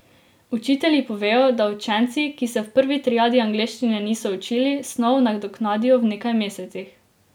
Učitelji povejo, da učenci, ki se v prvi triadi angleščine niso učili, snov nadoknadijo v nekaj mesecih.